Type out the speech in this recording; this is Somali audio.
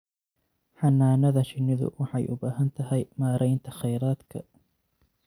Xannaanada shinnidu waxay u baahan tahay maaraynta kheyraadka.